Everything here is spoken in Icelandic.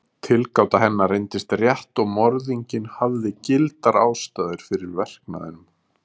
Tilgáta hennar reyndist rétt og morðinginn hafði gildar ástæður fyrir verknaðinum.